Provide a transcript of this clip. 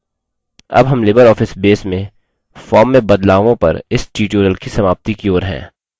अब हम libreoffice base में form में बदलावों पर इस tutorial की समाप्ति की ओर हैं